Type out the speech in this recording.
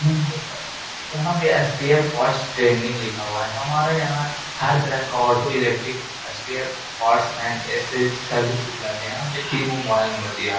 यहां पे SPR. Parts लिखा हुआ है। हमारे यहां हर तरह का auto electric spare parts and ऐसे सभी रहते हैं यहाँ पे। मे मोबाइल नंबर दिया है।